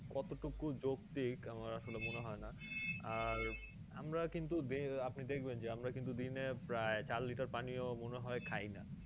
কত টুকু যোক্তিক আমার আসলে মনে হয়না আর আমরা কিন্তু দে~ আপনি দেখবেন যে আমরা কিন্তু দিনে প্রায় চার litter পানিও মনে হয় খাইনা